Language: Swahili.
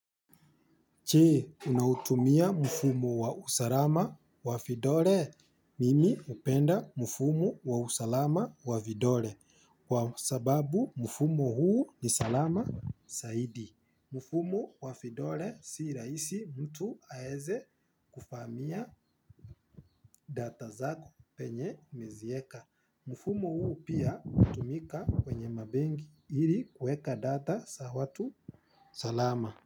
Je, unautumia mfumo wa usalama wavidole. Mimi hupenda mfumo wa usalama wavidole. Kwa sababu mfumo huu ni salama saidi. Mfumo wavidole si rahisi mtu aeze kuvamia data zako penye umezieka. Mfumo huu pia hutumika kwenye mabegi ili kueka data za watu salama.